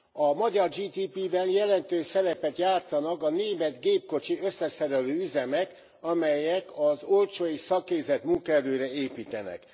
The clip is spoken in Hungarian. A magyar GDP ben jelentős szerepet játszanak a német gépkocsi összeszerelő üzemek, amelyek az olcsó és szakképzett munkaerőre építenek.